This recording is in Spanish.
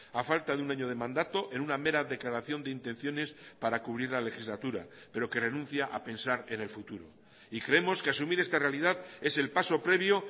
a falta de un año de mandato en una mera declaración de intenciones para cubrir la legislatura pero que renuncia a pensar en el futuro y creemos que asumir esta realidad es el paso previo